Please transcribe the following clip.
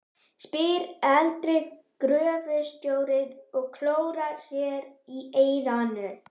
spyr eldri gröfustjórinn og klórar sér í eyranu.